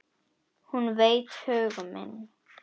Hún veit hug minn.